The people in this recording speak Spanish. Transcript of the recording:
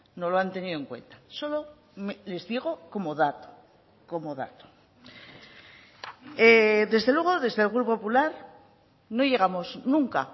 no lo han tenido en cuenta solo les digo como dato como dato desde luego desde el grupo popular no llegamos nunca